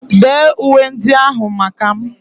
Dee uwe ndị ahụ maka m!